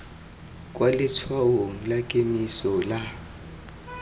kwa letshwaong la kemiso la